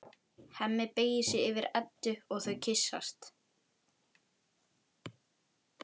Hemmi beygir sig yfir Eddu og þau kyssast.